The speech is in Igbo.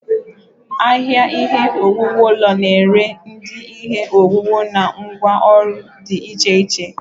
Ahịa ihe owuwu ụlọ na-ere ụdị ihe owuwu na ngwá ọrụ dị iche iche.